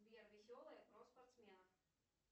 сбер веселое про спортсменов